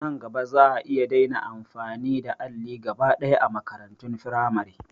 Nan gaba za'a iya daina amfani da alli gaba ɗaya a makarantun firamare